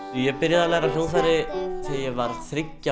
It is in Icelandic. ég byrjaði að læra á hljóðfæri þegar ég var þriggja